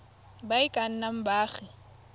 ba e ka nnang baagi